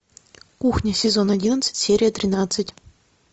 кухня сезон одиннадцать серия тринадцать